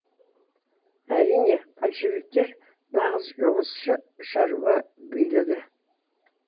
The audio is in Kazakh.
әрине большевиктер нағыз жұмысшы шаруа билігі